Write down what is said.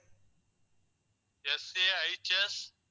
SAHS